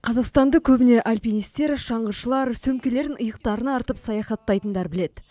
қазақстанды көбіне альпинистер шаңғышылар сөмкелерін иықтарына артып саяхаттайтындар біледі